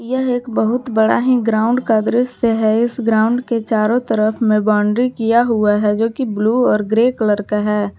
यह एक बहुत बड़ा ही ग्राउंड का दृश्य है इस ग्राउंड के चारों तरफ में बाउंड्री किया हुआ है जो कि ब्लू और ग्रे कलर मे है।